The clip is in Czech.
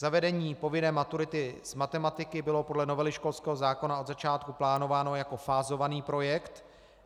Zavedení povinné maturity z matematiky bylo podle novely školského zákona od začátku plánováno jako fázovaný projekt.